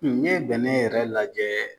bɛnɛ yɛrɛ lajɛ